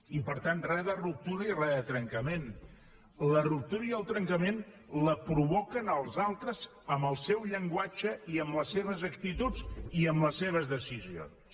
i per tant res de ruptura i res de trencament la ruptura i el trencament la provoquem els altres amb el seu llenguatge i amb les seves actituds i amb les seves decisions